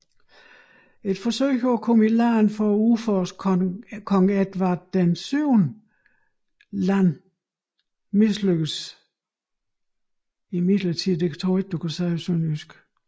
Et forsøg på at komme i land for at udforske Kong Edward VII Land mislykkedes imidlertid